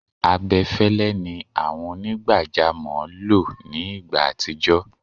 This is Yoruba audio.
abẹfẹlẹ ni àwọn onigbajamo lọ ní igbá atijọ